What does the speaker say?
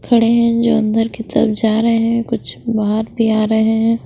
खड़े हैं जो अंदर की तरफ जा रहे हैं कुछ बाहर भी आ रहे है।